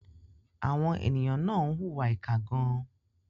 Àwọn ènìyàn náà ń hùwà ìkà gan-an.